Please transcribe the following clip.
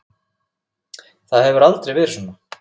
Það hefur aldrei verið svona.